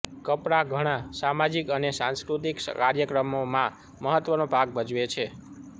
કપડાં ઘણાં સામાજિક અને સાંસ્કૃતિક કાર્યક્રમોમાં મહત્વનો ભાગ ભજવે છે